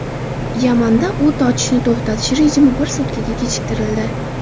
Yamanda o‘t ochishni to‘xtatish rejimi bir sutkaga kechiktirildi.